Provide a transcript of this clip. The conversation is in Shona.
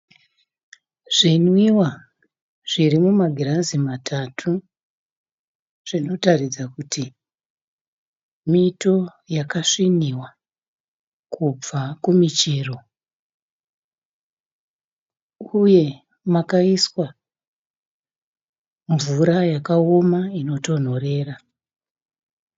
Zvinwiwa, zvirimumagirazi matatu. Zvinotaridza kuti mito yakasviniwa kubva kumichero, uye makaiswa mvura yakaoma inotonhorera.